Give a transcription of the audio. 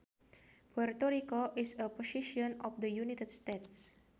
Puerto Rico is a possession of the United States